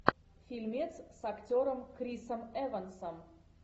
фильмец с актером крисом эвансом